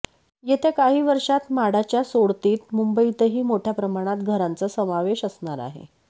येत्या काही वर्षात म्हाडाच्या सोडतीत मुंबईतही मोठय़ा प्रमाणात घरांचा समावेश असणार आहे